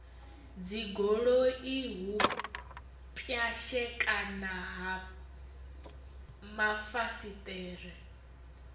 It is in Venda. dzigoloi u pwashekana ha mafasiṱere